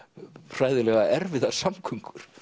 hræðilega erfiðar samgöngur